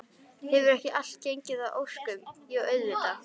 Hefur ekki allt gengið að óskum, jú auðvitað.